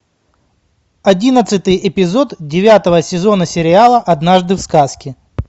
одиннадцатый эпизод девятого сезона сериала однажды в сказке